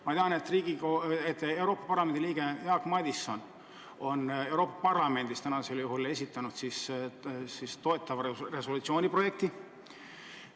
Ma tean, et Euroopa Parlamendi liige Jaak Madison on Euroopa Parlamendis esitanud seda toetava resolutsiooni projekti.